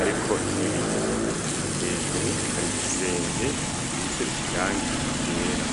ariko n'ibiyo, hejuru hari igisenge gisize irangi ryera.